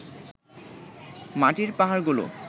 মাটির পাহাড়গুলো